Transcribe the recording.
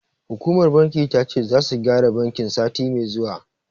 Hukumar bankin ta ce, zasu gyara bankin, sati mai zuwa.